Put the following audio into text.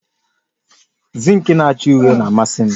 Zinki na acha uhie na-amasi m